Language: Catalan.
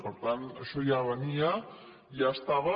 per tant això ja venia ja estava